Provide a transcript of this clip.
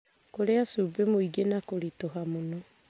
kũrĩa cumbĩ mũingĩ na kũritũha mũno,